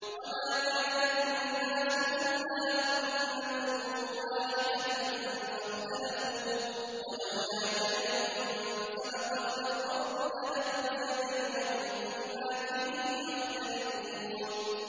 وَمَا كَانَ النَّاسُ إِلَّا أُمَّةً وَاحِدَةً فَاخْتَلَفُوا ۚ وَلَوْلَا كَلِمَةٌ سَبَقَتْ مِن رَّبِّكَ لَقُضِيَ بَيْنَهُمْ فِيمَا فِيهِ يَخْتَلِفُونَ